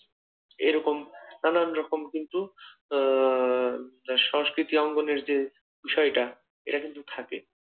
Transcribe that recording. এরকম নানান রকম কিন্তু আহ তার সংস্কৃতি অঙ্গনের যে বিষয়টা এটা কিন্তু থাকে।